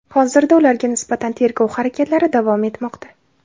Hozirda ularga nisbatan tergov harakatlari davom etmoqda.